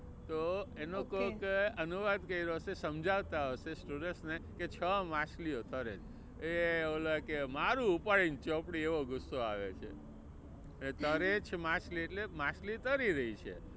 તો એનું કોઈકે અનુવાદ કર્યું હશે સમજાવતા હશે student ને કે છ માછલીઓ તરે છે. એ ઓલો કે મારુ ઉપાડીને ચોપડી એવો ગુસ્સો આવે છે. તરે છે માછલી એટલે માછલી તરી રહી છે.